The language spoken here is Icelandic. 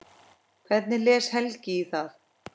Hvernig les Helgi í það?